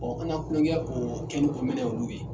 Ɔ an na tulonkɛ k'o kɛli o minɛ olu ye